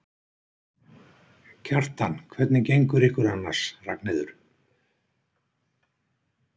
Kjartan: Hvernig gengur ykkur annars, Ragnheiður?